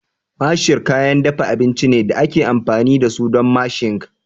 Masher kayan dafa abinci ne da ake amfani da su don mashing